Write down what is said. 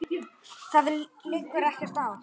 Þér liggur ekkert á.